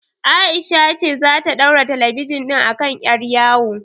Aisha ce zata ɗaura talabijin ɗin a kan ƴar yawo